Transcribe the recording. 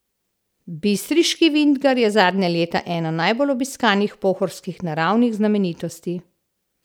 Bistriški vintgar je zadnja leta ena najbolj obiskanih pohorskih naravnih znamenitosti.